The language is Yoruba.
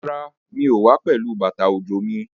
Rárá, mi ò wá pẹ̀lú bàtà òjò mi.